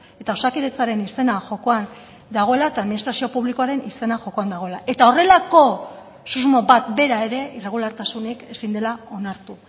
eta osakidetzaren izena jokoan dagoela eta administrazio publikoaren izena jokoan dagoela eta horrelako susmo bat bera ere irregulartasunik ezin dela onartu